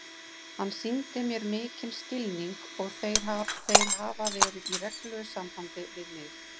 Hann sýndi mér mikinn skilning og þeir hafa verið í reglulegu sambandi við mig.